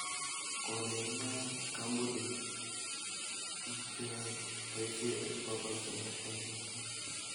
koleni noe kampunit biik che yoe boisie eng bokol somok eng betuu.